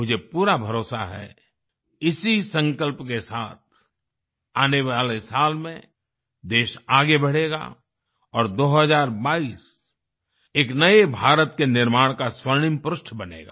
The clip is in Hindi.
मुझे पूरा भरोसा है कि इसी संकल्प के साथ आने वाले साल में देश आगे बढ़ेगा और 2022 एक नए भारत के निर्माण का स्वर्णिम पृष्ठ बनेगा